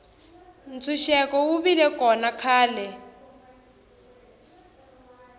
ntshuxeko wu vile kona khale